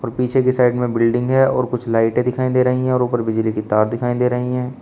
और पीछे के साइड में कुछ बिल्डिंग है और कुछ लाइटे दिखाई दे रही हैं और ऊपर बिजली के तार दिखाई दे रही हैं।